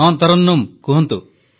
ହଁ ତରନ୍ନୁମ୍ କୁହନ୍ତୁ